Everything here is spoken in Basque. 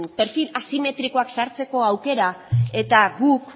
perfil asimetrikoak sartzeko aukera eta guk